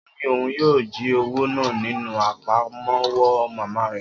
O ni oun yoo ji owo naa ninu apamọwọ mama rẹ